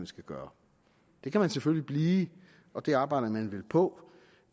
skal gøre det kan der selvfølgelig blive og det arbejder man vel på